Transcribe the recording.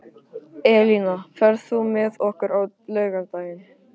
Elína, ferð þú með okkur á laugardaginn?